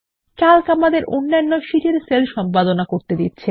Calc আমাদের অন্যান্য শীটের সেল এ সম্পাদনা করতে দেবে